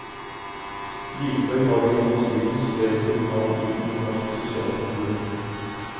Likevel var det gjennom strid hun skrev sitt navn inn i norsk sosialhistorie.